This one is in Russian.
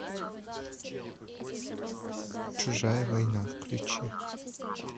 чужая война включи